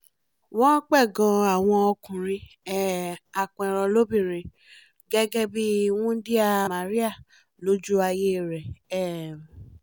wọ́n pẹ̀gàn àwọn ọkùnrin um apẹranlọ́bìnrin gẹ́gẹ́ bí i wúńdíá màríà lójú ayé rẹ̀ um